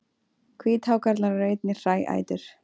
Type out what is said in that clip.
Hvíthákarlar eru einnig hræætur.